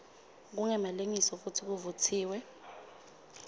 kungemalengiso futsi kuvutsiwe